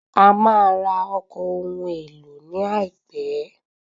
A máa ra ọkọ̀ ohun èlò ní àìpé.